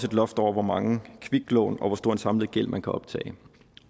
et loft over hvor mange kviklån og hvor stor en samlet gæld man kan optage